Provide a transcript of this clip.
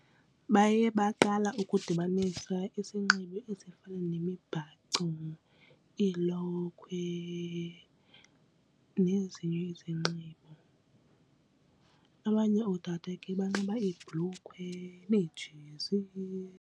Baye baqala ukudibanisa isinxibo esifana nemibhaco iilokhwe nezinye izinxibo, abanye ootata ke banxiba iibhlukhwe neejezi.